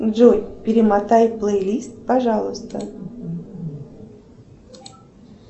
джой перемотай плейлист пожалуйста